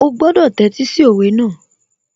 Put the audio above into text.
Ó gbọ́dọ̀ tẹ́tí sí òwe náà